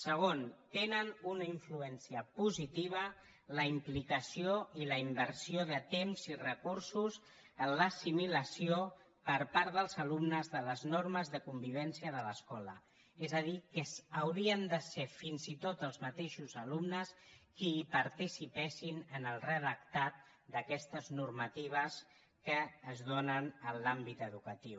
segon tenen una influència positiva la implicació i la inversió de temps i recursos en l’assimilació per part dels alumnes de les normes de convivència de l’escola és a dir que haurien de ser fins i tot els mateixos alumnes els qui participessin en el redactat d’aquestes normatives que es donen en l’àmbit educatiu